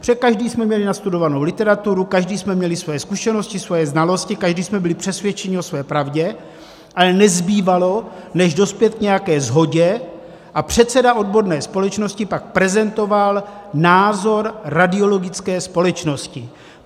Protože každý jsme měli nastudovanou literaturu, každý jsme měli svoji zkušenosti, svoje znalosti, každý jsme byli přesvědčeni o své pravdě, ale nezbývalo, než dospět k nějaké shodě, a předseda odborné společnosti pak prezentoval názor Radiologické společnosti.